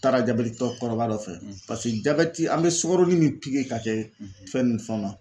Taara jabɛti tɔ kɔrɔba dɔ fɛ paseke jabɛti an bɛ sukaro ni pikiri ka kɛ fɛn ni fɛnw na